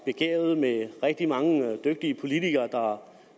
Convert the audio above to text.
begavet med rigtig mange dygtige politikere